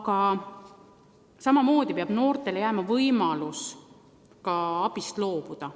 Aga samamoodi peab noortele jääma võimalus ka abist loobuda.